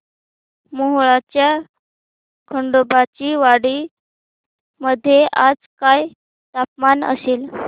मोहोळच्या खंडोबाची वाडी मध्ये आज काय तापमान असेल